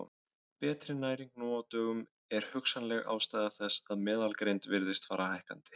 Betri næring nú á dögum er hugsanleg ástæða þess að meðalgreind virðist fara hækkandi.